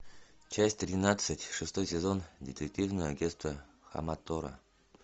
часть тринадцать шестой сезон детективное агентство хаматора